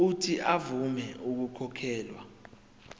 uuthi avume ukukhokhela